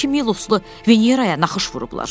Elə bil ki, Miloslu Veneraya naxış vurublar.